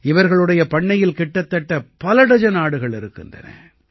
இவர்களுடைய பண்ணையில் கிட்டத்தட்ட பலடஜன் ஆடுகள் இருக்கின்றன